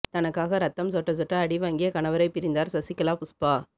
தனக்காக ரத்தம் சொட்ட சொட்ட அடிவாங்கிய கணவரை பிரிந்தார் சசிகலா புஷ்பா